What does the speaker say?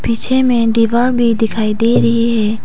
पीछे में दीवार भी दिखाई दे रही है।